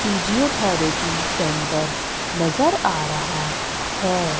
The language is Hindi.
फिजियोथैरेपी सेंटर नजर आ रहा है।